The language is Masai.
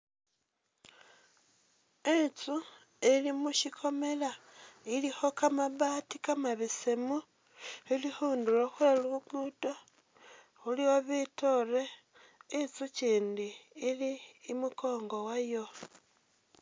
Inzu ili mu shikomela, ilikho kamabati kamabesemu, ili khundulo khwe luguudo, khulikho bitoore, inzu kindi ili imukoongo wayo.